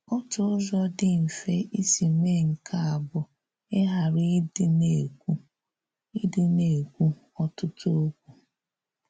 Òtù ụzọ̀ dị mfè isi meè nke a bụ̀ ịgharà ịdị na-ekwù ịdị na-ekwù ọ̀tụ̀tù̀ okwu.